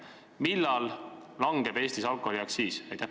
Millal langeb Eestis alkoholiaktsiis?